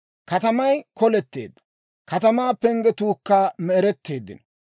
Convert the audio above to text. Katamay koletteedda; katamaa penggetuukka me'eretteeddino.